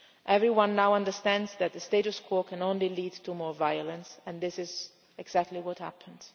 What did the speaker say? Everyone now understands that the status quo can only lead to more violence, and this is exactly what